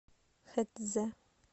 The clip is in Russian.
хэцзэ